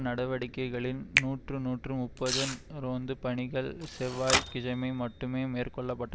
நடவடிக்கைகளில் நூற்று நூற்று முப்பது ரோந்து பணிகள் செவ்வாய்க்கிஜமை மட்டும் மேற்கொள்ள பட்ட